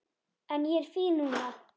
En ég er fín núna.